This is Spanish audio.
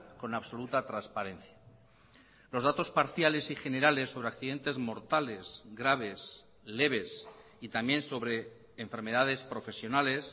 con absoluta transparencia los datos parciales y generales sobre accidentes mortales graves leves y también sobre enfermedades profesionales